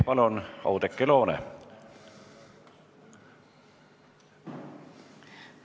Palun, Oudekki Loone!